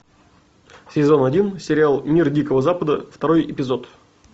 сезон один сериал мир дикого запада второй эпизод